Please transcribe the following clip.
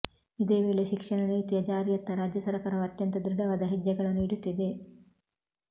ಇದೇ ವೇಳೆ ಶಿಕ್ಷಣ ನೀತಿಯ ಜಾರಿಯತ್ತ ರಾಜ್ಯ ಸರಕಾರವು ಅತ್ಯಂತ ದೃಢವಾದ ಹೆಜ್ಜೆಗಳನ್ನು ಇಡುತ್ತಿದೆ